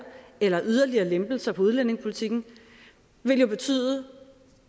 eller yderligere lempelser af udlændingepolitikken vil jo